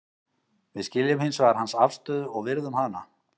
Við skiljum hins vegar hans afstöðu og virðum hana.